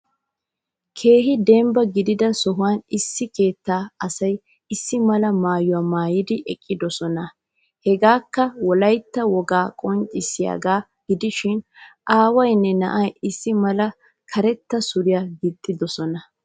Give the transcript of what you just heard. Keehin deembba giidida sohuwaan issi keettaa asayi issi mala mayuwaa maayidi eqqiidosona. Heegekka wolayita wooga qonccisiyaaga giidishin aawayinne naa'ayi issi mala kareetta suuriyaa giixxidoosona.